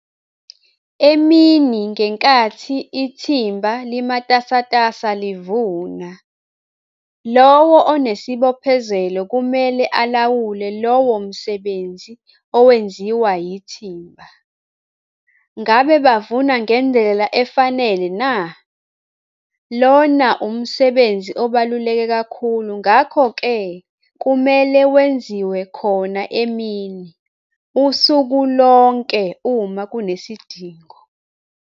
Emini ngenkathi ithimba limatasatasa livuna, lowo onesibophezelo kumele alawule lowo msebenzi owenziwa yithimba - ngabe bavuna ngendlela efanele na? Lona umsebenzi obaluleke kakhulu ngakho-ke kumele wenziwe khona emini, usuku lonke uma kunesidingo.